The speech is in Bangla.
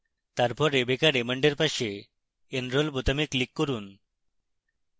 তারপর rebecca raymond এর পাশে enroll বোতামে click করুন